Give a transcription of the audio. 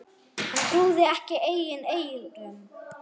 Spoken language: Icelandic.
Hann trúði ekki eigin eyrum.